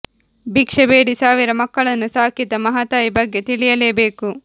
ಭಿಕ್ಷೆ ಬೇಡಿ ಸಾವಿರ ಮಕ್ಕಳನ್ನು ಸಾಕಿದ ಮಹಾತಾಯಿ ಬಗ್ಗೆ ತಿಳಿಯಲೇ ಬೇಕು